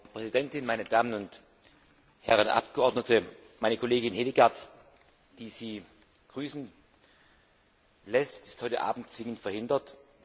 Frau Präsidentin, meine Damen und Herren Abgeordnete! Meine Kollegin Hedegaard, die Sie grüßen lässt, ist heute Abend zwingend verhindert.